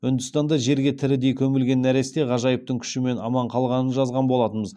үндістанда жерге тірідей көмілген нәресте ғажайыптың күшімен аман қалғанын жазған болатынбыз